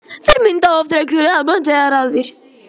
Þeir mynda oft regluleg bönd eða raðir.